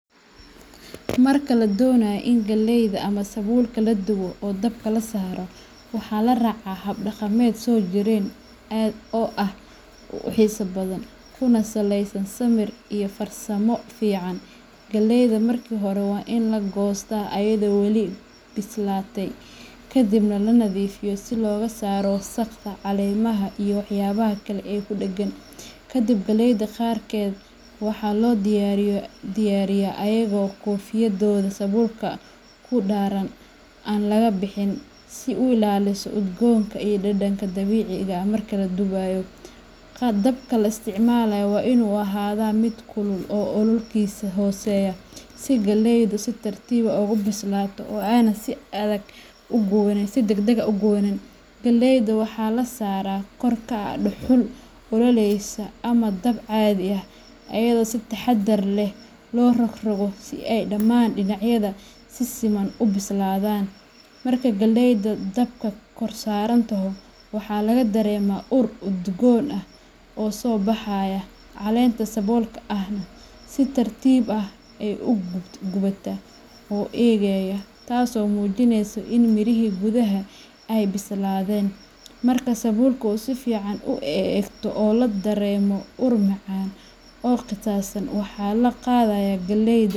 Marka la doonayo in galleyda ama sabulkeeda la dubo oo dabka la saaro, waxaa la raacaa hab dhaqameed soo jireen ah oo aad u xiiso badan, kuna saleysan samir iyo farsamo fiican. Galleyda marka hore waa in la goostaa iyadoo weli bislaatay, kadibna la nadiifiyaa si looga saaro wasakhda, caleemaha, iyo waxyaabaha kale ee ku dheggan. Kadib, galleyda qaarkeed waxaa loo diyaariyaa iyagoo koofiyadooda sabulka ku dahaaran aan laga bixin, si ay u ilaaliso udgoonka iyo dhadhanka dabiiciga ah marka la dubayo. Dabka la isticmaalo waa inuu ahaadaa mid kulul oo ololkiisa hooseeyo, si galleydu si tartiib ah ugu bislaato oo aanay si degdeg ah u guban. Galleyda waxa la saaraa kor ka ah dhuxul ololaysa ama dab caadi ah, iyadoo si taxaddar leh loo rogrogo si ay dhammaan dhinacyadeeda si siman u bislaadaan. Marka galleydu dabka kor saaranto, waxaa laga dareemayaa ur udgoon ah oo soo baxaya, caleenta sabulka ahna si tartiib ah ayay u gubataa oo u engegaa, taasoo muujinaysa in mirihii gudaha ay bislaadayaan. Markay sabulku si fiican u engegto oo la dareemo ur macaan oo qiiqaysan, waxaa la qaadayaa galleyda.